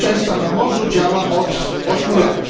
Bezpieczeństwa na Morzu działa od 8 lat.